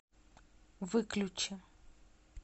выключи